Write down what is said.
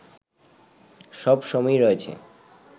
সব সময়ই রয়েছে